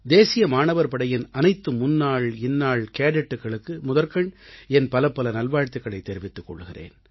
தேசிய மாணவர் படையின் அனைத்து முன்னாள் இன்னாள் கேடெட்டுக்களுக்கு முதற்கண் என் பலப்பல நல்வாழ்த்துக்களைத் தெரிவித்துக் கொள்கிறேன்